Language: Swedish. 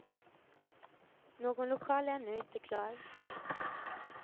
Någon lokal är ännu inte klar.